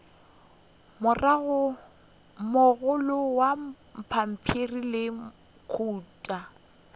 mogolo wa pampiri le kota